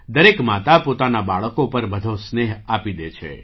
દરેક માતા પોતાના બાળકો પર બધો સ્નેહ આપી દે છે